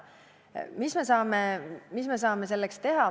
Mis me saame selleks teha?